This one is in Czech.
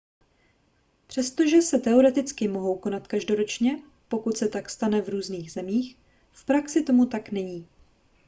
přestože se teoreticky mohou konat každoročně pokud se tak stane v různých zemích v praxi tomu tak není